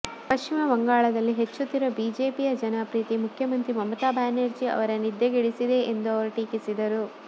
ಪಶ್ಚಿಮ ಬಂಗಾಳದಲ್ಲಿ ಹೆಚ್ಚುತ್ತಿರುವ ಬಿಜೆಪಿಯ ಜನಪ್ರಿಯತೆ ಮುಖ್ಯಮಂತ್ರಿ ಮಮತಾ ಬ್ಯಾನರ್ಜಿ ಅವರ ನಿದ್ದೆಗೆಡಿಸಿದೆ ಎಂದು ಅವರು ಟೀಕಿಸಿದರು